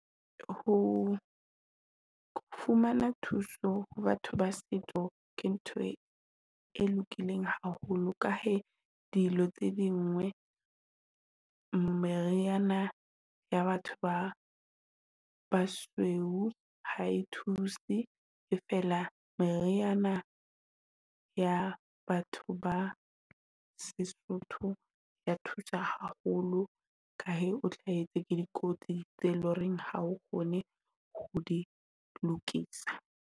Ho fumana thuso ho batho ba setso ke ntho e lokileng haholo ka he dilo tse dingwe meriana ya batho ba basweu ha e thuse, e fela meriana ya batho ba seSotho. Ya thusa haholo ka he, o tla etsa ke dikotsi tse loreng ha o kgone ho di lokisa.